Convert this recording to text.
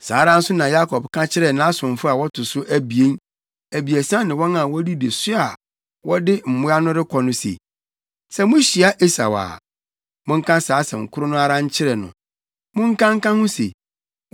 Saa ara nso na Yakob ka kyerɛɛ nʼasomfo a wɔto so abien, abiɛsa ne wɔn a wodidi so a wɔde mmoa no rekɔ no se, “Sɛ muhyia Esau a, monka saa asɛm koro no ara nkyerɛ no. Monka nka ho se,